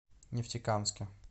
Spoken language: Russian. нефтекамске